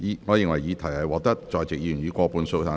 我認為議題獲得在席議員以過半數贊成。